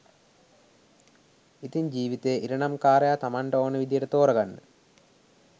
ඉතින් ජීවිතේ ඉරණම් කාරයා තමන්ට ඕන විදියට තෝරගන්න